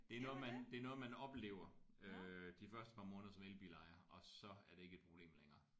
Det er noget man det er noget man oplever øh de første par måneder som elbilejer og så er det ikke et problem længere